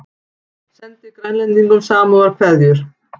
Sendi Grænlendingum samúðarkveðjur